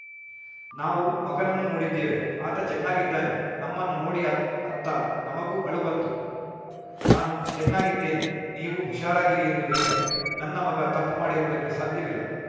ನಾವು ಮಗನನ್ನು ನೋಡಿದ್ದೇವೆ ಆತ ಚೆನ್ನಾಗಿದ್ದಾನೆ ನಮ್ಮನ್ನು ನೋಡಿ ಅತ್ ಅತ್ತ ನಮಗೂ ಅಳು ಬಂತು ನಾನು ಚೆನ್ನಾಗಿದ್ದೇನೆ ನೀವು ಹುಷಾರಾಗಿರಿ ಎಂದು ಹೇಳಿದ ನನ್ನ ಮಗ ತಪ್ಪು ಮಾಡಿರುವುದಕ್ಕೆ ಸಾಧ್ಯವಿಲ್ಲ